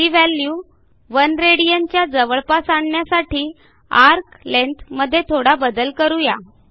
ती value 1 rad च्या जवळपास आणण्यासाठी एआरसी लेंग्थ मध्ये थोडा बदल करू या